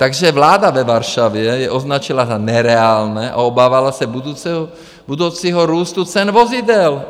Takže vláda ve Varšavě je označila za nereálné a obávala se budoucího růstu cen vozidel.